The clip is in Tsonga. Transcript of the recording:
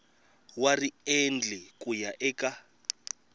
wa riendli ku ya eka